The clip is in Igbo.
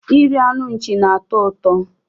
Iri anụ nchi na-atọ ụtọ